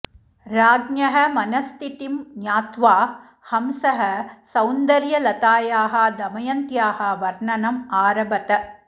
राज्ञः मनःस्थितिं ज्ञात्वा हंसः सौन्दर्यलतायाः दमयन्त्याः वर्णनम् आरभत